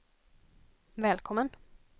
välkommen